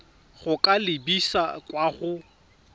go ka lebisa kwa go